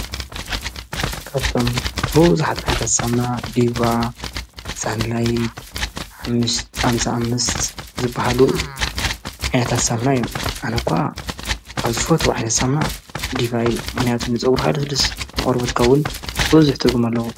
ካብቶም ሁ ዝሓጥ ዓይታሳምና ዲዋ ሳንድላይት ሓምስዓምሣዓምስት ዝበሃሉ ኣያታሳምና ዮ ኣነኳ ካብ ዝፈት ዋሒለሳና ዲባይ መንያቱን ንጸብሩ ሃለ ስልስመቑርበትካዉን በዙኅ ትርጉም ኣለዉ።